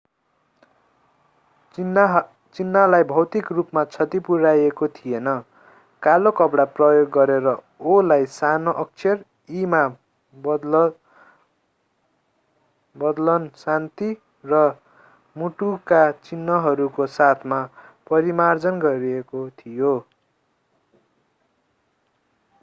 चिन्हलाई भौतिक रूपमा क्षति पुर्‍याइएको थिएन; कालो कपडा प्रयोग गरेर o”लाई सानो अक्षर e” मा बदल्न शान्ति र मुटुका चिन्हहरूको साथमा परिमार्जन गरिएको थियो।